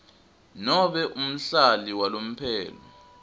nobe umhlali walomphelo